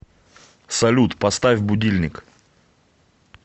салют поставь будильник